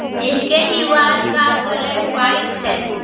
जिसके दीवार का कलर वाइट है।